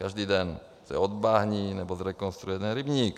Každý den se odbahní nebo zrekonstruuje jeden rybník.